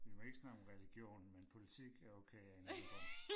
Vi må ikke snakke om religion men politik er okay af én eller anden grund